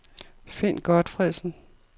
Finn Gotfredsen